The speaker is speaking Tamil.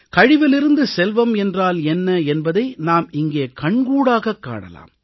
கழிவிலிருந்து செல்வம் என்றால் என்ன என்பதை நாம் இங்கே கண்கூடாகக் காணலாம்